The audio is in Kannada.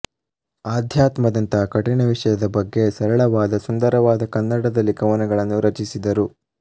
ಆಧ್ಯಾತ್ಮದಂತಹ ಕಠಿಣವಿಷಯದ ಬಗ್ಗೆ ಸರಳವಾದ ಸುಂದರವಾದ ಕನ್ನಡದಲ್ಲಿ ಕವನಗಳನ್ನು ರಚಿಸಿದರು